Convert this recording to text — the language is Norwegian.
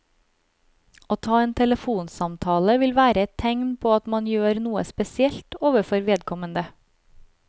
Å ta en telefonsamtale vil være et tegn på at man gjør noe spesielt overfor vedkommende.